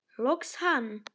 Loks hann!